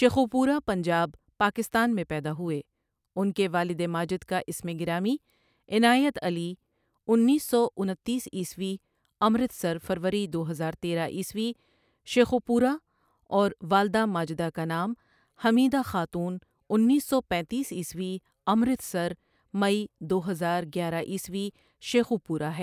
شیخوپورہ پنجاب پاکستان میں پیدا ہوئے ان کے والد ماجد کا اسمِ گرامی عنایت علی اُنیس سو انتیس عیسوی امرتسر فروری دو ہزار تیرہ عیسوی شیخوپورہ اور والدہ ماجدہ کا نام حمیدہ خاتون اُنیس سو پنیتیس عیسوی امرتسر مئی دو ہزار گیرہ عیسوی شیخوپورہ ہے۔